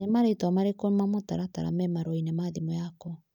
Nĩ marĩtwa marĩkũ ma mũtaratara me marũa-inĩ ma thimũ yakwa.